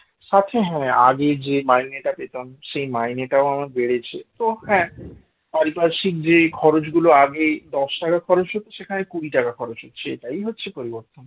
সাথে হ্যাঁ আগে যে মাইনেটা পেতাম সেই মাইনেটা আমার বেড়েছে তো হ্যাঁ পারিপার্শ্বিক যে খরচ গুলো আগে দশ টাকা খরচ হচ্ছে সেখানে কুড়ি টাকা খরচ হচ্ছে এটাই হচ্ছে পরিবর্তন